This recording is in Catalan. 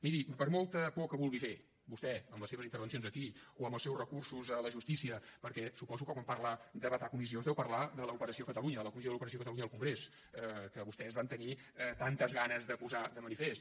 miri per molta por que vulgui fer vostè amb les seves intervencions aquí o amb els seus recursos a la justícia perquè suposo que quan parla de vetar comissions deu parlar de l’operació catalunya de la comissió de l’operació catalunya al congrés que vostès van tenir tantes ganes de posar de manifest